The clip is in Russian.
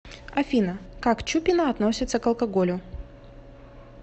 афина как чупина относится к алкоголю